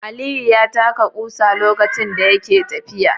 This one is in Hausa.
Aliyu ya taka ƙusa lokacin da yake tafiya.